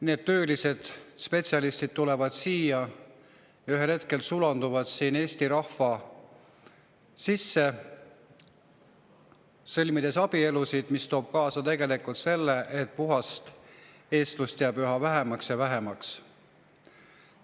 Need töölised, spetsialistid, kes siia tulevad, ühel hetkel sulanduvad siin Eesti rahva sisse, sõlmides abielusid, ja see toob tegelikult kaasa selle, et puhast eestlust jääb üha vähemaks ja vähemaks.